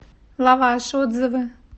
лаваш отзывы